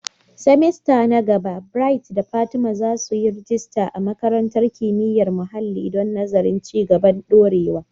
semester na gaba, Bright da Fatima za su yi rajista a Makarantar Kimiyyar Muhalli don nazarin Ci gaban Dorewa.